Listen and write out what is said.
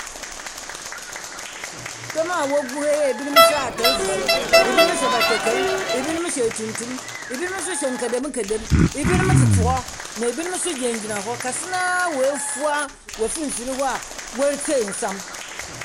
Dɔm a wogu ha yi, ebinom hyɛ atar fufuw, ebinom hyɛ batakar, ebinom hyɛ tuntum. Ebinom nso hyɛ nkedem nkedem. Ebinom tete hɔ. Na ebinom nso gyinagyina hɔ. Kɛse no ara wɔafua wɔ finfin hɔ a wɔretsie nsɛm.